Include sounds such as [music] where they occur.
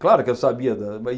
Claro que eu sabia da [unintelligible]